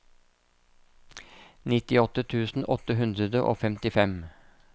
nittiåtte tusen åtte hundre og femtifem